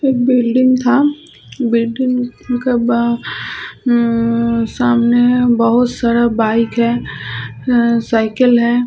एक बिल्डिंग था बिल्डिंग के बाहर उम उम सामने बहुत सारा बाइक है ये साईकिल है।